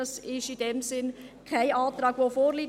Das ist in diesem Sinne kein Antrag, der vorliegt.